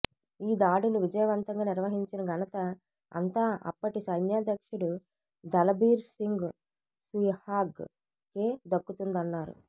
ఈ దాడులు విజయవంతంగా నిర్వహించిన ఘనత అంతా అప్పటి సైన్యాధ్యక్షుడు దళబీర్ సింగ్ సుహాగ్ కె దక్కుతుందన్నారు